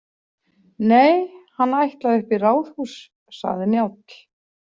Nei, hann ætlaði upp í ráðhús, sagði Njáll.